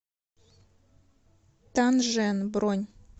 тан жен бронь